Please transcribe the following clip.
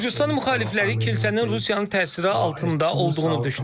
Gürcüstan müxalifləri kilsənin Rusiyanın təsiri altında olduğunu düşünür.